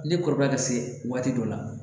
Ne kɔrɔkɛ bɛ se waati dɔ la